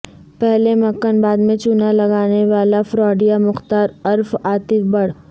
پہلے مکھن بعد میں چونا لگانے والا فراڈیا مختار عرف عاطف بٹر